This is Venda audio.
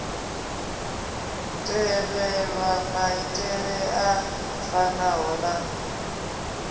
tevhelwa maitele a fanaho na